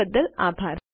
જોડાવા બદ્દલ આભાર